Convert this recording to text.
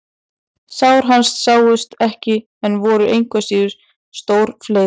Sár hans sáust ekki en voru engu að síður sem stór fleiður.